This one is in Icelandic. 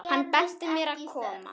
Hann benti mér að koma?